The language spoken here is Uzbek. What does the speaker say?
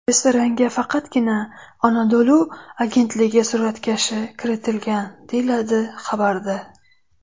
Restoranga faqatgina Anadolu agentligi suratkashi kiritilgan”, deyiladi xabarda.